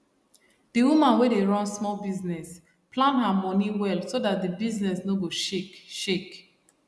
d woman wey dey run small business plan her money well so that d business no go shake shake